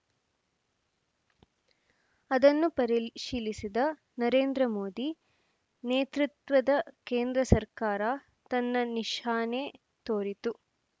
ಅದನ್ನು ಪರಿಶೀಲಿಸಿದ ನರೇಂದ್ರ ಮೋದಿ ನೇತೃತ್ವದ ಕೇಂದ್ರ ಸರ್ಕಾರ ತನ್ನ ನಿಶಾನೆ ತೋರಿತು